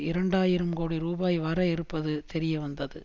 இரண்டு ஆயிரம் கோடி ரூபாய் வர இருப்பது தெரியவந்தது